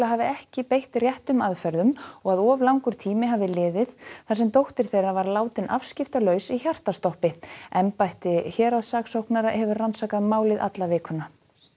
hafi ekki beitt réttum aðferðum og að of langur tími hafi liðið þar sem dóttir þeirra var látin afskiptalaus í hjartastoppi embætti héraðssaksóknara hefur rannsakað málið alla vikuna